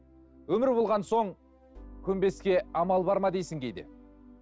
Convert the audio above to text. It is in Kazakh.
өмір болған соң көнбеске амал бар ма дейсің кейде